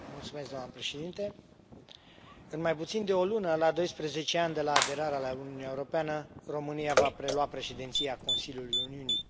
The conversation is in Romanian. Doamnă președintă, în mai puțin de o lună, la doisprezece ani de la aderarea la Uniunea Europeană, România va prelua Președinția Consiliului Uniunii.